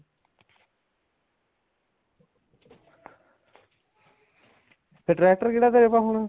tractor ਕਿਹੜਾ ਤੇਰੇ ਪਾ ਹੁਣ